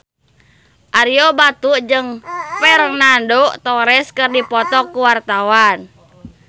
Ario Batu jeung Fernando Torres keur dipoto ku wartawan